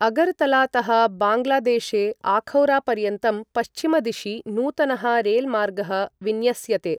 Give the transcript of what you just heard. अगरतलातः बाङ्गलादेशे अखौरापर्यन्तं पश्चिमदिशि नूतनः रेलमार्गः विन्यस्यते।